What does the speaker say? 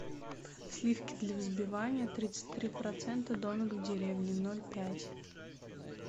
сливки для взбивания тридцать три процента домик в деревне ноль пять